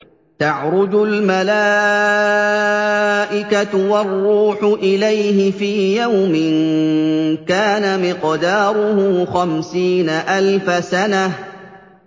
تَعْرُجُ الْمَلَائِكَةُ وَالرُّوحُ إِلَيْهِ فِي يَوْمٍ كَانَ مِقْدَارُهُ خَمْسِينَ أَلْفَ سَنَةٍ